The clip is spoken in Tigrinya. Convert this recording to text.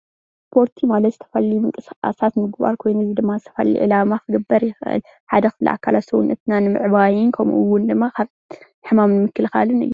ስፖርቲ ማለት ዝተፈላለዩ ምንቅስቃሳት ምግባር ኮይኑ እዚ ድማ ንዝተፈላለየ ዕላማ ክግበር ይኽእል ሓደ ክፍሊ ኣካላት ሰዉነትና ንምዕባይን ከምኡ እዉን ድማ ካብ ሕማም ንምክልካን እዩ።